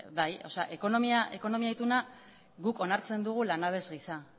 ekonomia ituna guk onartzen dugu langabez gisa